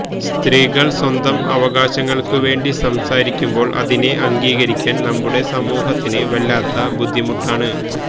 സ്ത്രീകള് സ്വന്തം അവകാശങ്ങള്ക്കു വേണ്ടി സംസാരിക്കുമ്പോള് അതിനെ അംഗീകരിക്കാന് നമ്മുടെ സമൂഹത്തിന് വല്ലാത്ത ബുദ്ധിമുട്ടാണ്